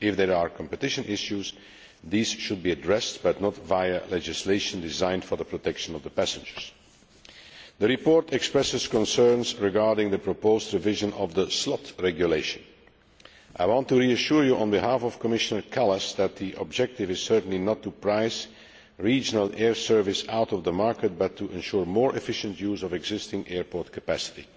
If there are competition issues, these should be addressed, but not via legislation designed to protect passengers. The report expresses concerns regarding the proposed revision of the Slot Regulation. I want to reassure you, on behalf of Commissioner Kallas, that the objective is certainly not to price regional air services out of the market but to ensure more efficient use of existing airport capacity.